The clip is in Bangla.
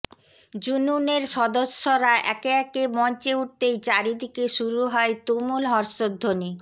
জুনুনের সদস্যরা একে একে মঞ্চে উঠতেই চারিদিকে শুরু হয় তুমুল হর্ষধ্বনি